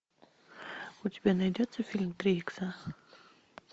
у тебя найдется фильм три икса